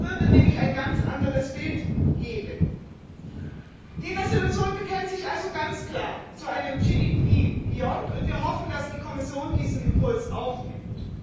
Das würde nämlich ein ganz anderes Bild geben. Die Entschließung bekennt sich also ganz klar zu einem GDP Beyond und wir hoffen, dass die Kommission diesen Impuls aufnimmt.